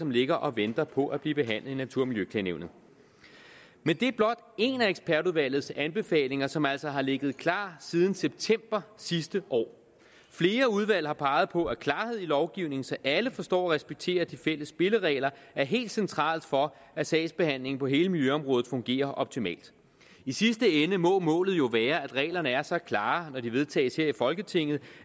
ligger og venter på at blive behandlet i natur og miljøklagenævnet men det er blot en af ekspertudvalgets anbefalinger som altså har ligget klar siden september sidste år flere udvalg har peget på at klarhed i lovgivningen så alle forstår og respekterer de fælles spilleregler er helt centralt for at sagsbehandlingen på hele miljøområdet fungerer optimalt i sidste ende må målet jo være at reglerne er så klare når de vedtages her i folketinget